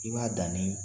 I b'a dan nin